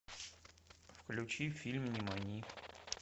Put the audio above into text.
включи фильм нимани